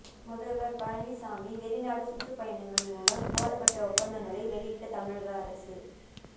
முதல்வர் பழனிசாமி வெளிநாடு சுற்றுப்பயணங்கள் மூலம் போடப்பட்ட ஒப்பந்தங்களை வெளியிட்ட தமிழக அரசு